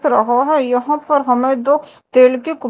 रहा है यहां पर हमें दो तेल के--